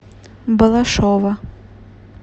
балашова